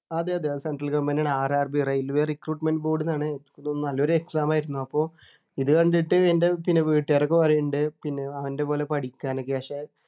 അതെ അതെ അത് central goverment ആണ് RRBrailway recruitment board ആണ്ന്നാണ് ഉം നല്ലൊരു exam ആയിരുന്നു അപ്പോ ഇത് കണ്ടിട്ട് എൻ്റെ പിന്നെ വീട്ടുകാരൊക്കെ പറയുന്നുണ്ട് പിന്നെ അവൻ്റെ പോലെ പഠിക്കാനൊക്കെ ക്ഷേ